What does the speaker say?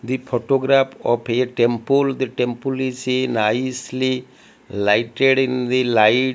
the photograph of a temple the temple is a nicely lighted in the light.